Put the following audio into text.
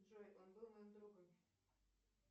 джой он был моим другом